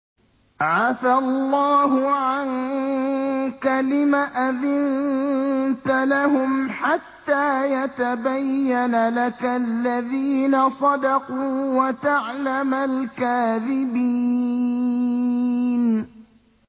عَفَا اللَّهُ عَنكَ لِمَ أَذِنتَ لَهُمْ حَتَّىٰ يَتَبَيَّنَ لَكَ الَّذِينَ صَدَقُوا وَتَعْلَمَ الْكَاذِبِينَ